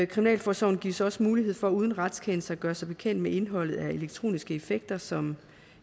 kriminalforsorgen gives også mulighed for uden retskendelse at gøre sig bekendt med indholdet af elektroniske effekter som